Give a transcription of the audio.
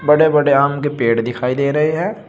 बड़े बड़े आम के पेड़ दिखाई दे रहे हैं।